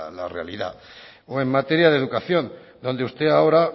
la realidad o en materia de educación donde usted ahora